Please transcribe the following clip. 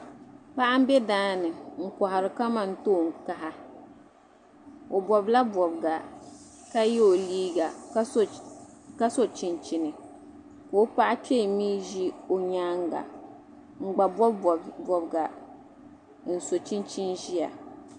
Paɣa m be daani n kɔhiri kamantoon kaha o bɔbila bɔbiga ka yɛ o liiga ka so chinchini ka o paɣa kpee mi ʒi o nyaanga n gba bɔbi bɔbiga n so chinchini